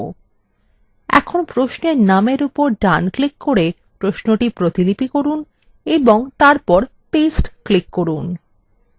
এখন প্রশ্নের নামের উপর ডান click করে প্রশ্নটি প্রতিলিপি করুন এবং তারপর paste click করুন